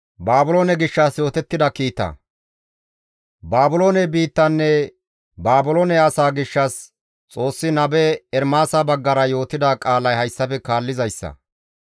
Baabiloone biittanne Baabiloone asa gishshas Xoossi nabe Ermaasa baggara yootida qaalay hayssafe kaallizayssa;